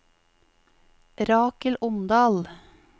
Rakel Omdal